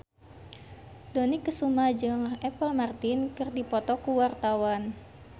Dony Kesuma jeung Apple Martin keur dipoto ku wartawan